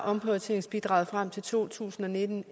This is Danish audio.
omprioriteringsbidraget frem til to tusind og nitten